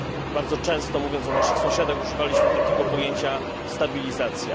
Bardzo często, mówiąc o naszych sąsiadach, używaliśmy takiego pojęcia stabilizacja.